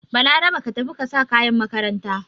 Balarabe ka tafi ka sa kayan makaranta!